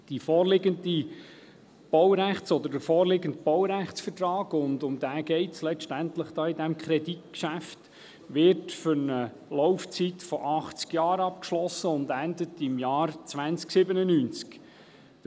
Der vorliegende Baurechtsvertrag – und um diesen geht es letztlich bei diesem Kreditgeschäft – wird für eine Laufzeit von 80 Jahren abgeschlossen und endet im Jahr 2097.